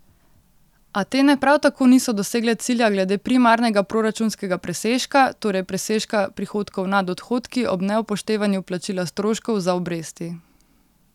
Atene prav tako niso dosegle cilja glede primarnega proračunskega presežka, torej presežka prihodkov nad odhodki ob neupoštevanju plačila stroškov za obresti.